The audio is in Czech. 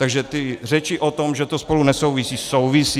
Takže ty řeči o tom, že to spolu nesouvisí - souvisí!